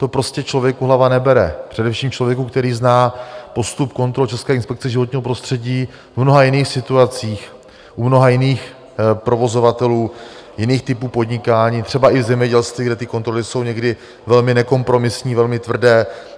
To prostě člověku hlava nebere, především člověku, který zná postup kontrol České inspekce životního prostředí v mnoha jiných situacích, u mnoha jiných provozovatelů, jiných typů podnikání, třeba i v zemědělství, kde ty kontroly jsou někdy velmi nekompromisní, velmi tvrdé.